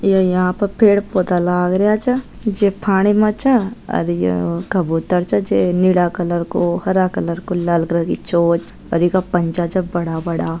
ये यहाँ पर पेड़ पौधा लाग रया चे जे पानी माँ चे और ये कबूतर चे जे नीला कलर को हरा कलर को लाल रंग की चोंच और ये का पंचा छे बड़ा बड़ा।